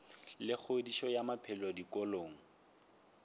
la kgodišo ya maphelo dikolong